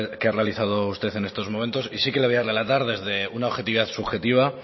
que ha realizado usted en estos momentos y sí que le voy a relatar desde una objetividad subjetiva